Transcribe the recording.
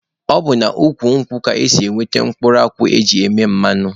Ọ bụ n'ukwu nkwụ ka esi enweta mkpụrụ akwụ e ji eme mmanụ.